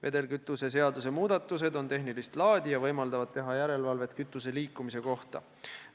Vedelkütuse seaduse muudatused on tehnilist laadi ja võimaldavad teha järelevalvet kütuse liikumise üle.